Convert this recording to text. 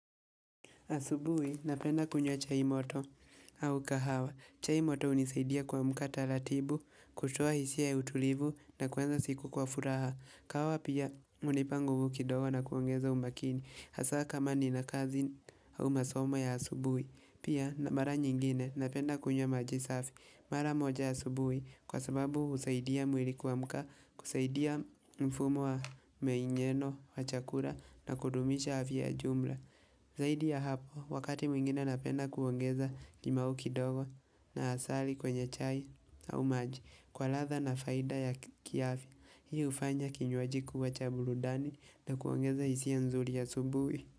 Asubuhi napenda kunywa chai moto au kahawa. Chai moto hunisaidia kuamka taratibu, kutoa hisia ya utulivu na kuanza siku kwa furaha. Kahawa pia hunipa nguvu kidogo na kuongeza umakini. Hasaa kama nina kazi au masoma ya asubuhi. Pia mara nyingine napenda kunywa maji safi. Mara moja asubuhi kwa sababu husaidia mwili kuamka. Kusaidia mfumo wa meinyeno wa chakula na kudumisha afya ya jumla. Zaidi ya hapo, wakati mwingine napenda kuongeza limau kidogo na asali kwenye chai au maji, kwa ladha na faida ya kiafya. Hii hufanya kinywaji kuwa cha burudani na kuongeza hisia nzuri asubuhi.